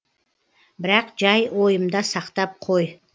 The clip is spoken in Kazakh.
бірақ жай ойымда сақтап қой